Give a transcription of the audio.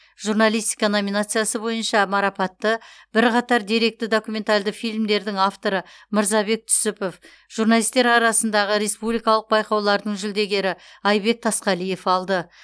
журналистика номинациясы бойынша марапатты бірқатар деректі документалды фильмдердің авторы мырзабек түсіпов журналистер арасындағы республикалық байқаулардың жүлдегері айбек тасқалиев алды